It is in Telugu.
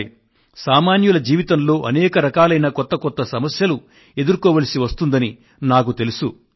దీని వల్ల మనం మన దైనందిన జీవనంలో వేరు వేరు కొత్త కష్టాలను ఎదుర్కొనవలసి వస్తుందన్న సంగతిని కూడా నేను గ్రహించాను